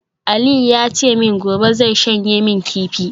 Aliu ya ce min gobe zai shanye min kifi